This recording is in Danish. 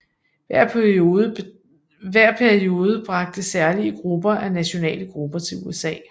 Hver periode bragte særlige grupper af nationale grupper til USA